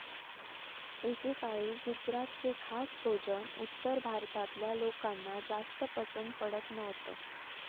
एकेकाळी गुजरातचे खास भोजन उत्तर भारतातल्या लोकांना जास्त पसंद पडत नव्हतं.